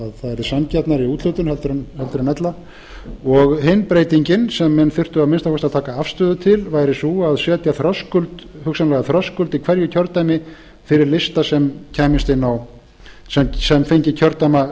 það væri sanngjarnari úthlutun en ella hin breytingin sem menn þyrftu að minnsta kosti að taka afstöðu til væri sú að setja þröskuld í hverju kjördæmi fyrir lista sem fengi kjördæmakjörinn